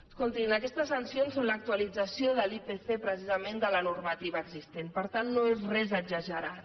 escoltin aquestes sancions són l’actualització de l’ipc precisament de la normativa existent per tant no és res exagerat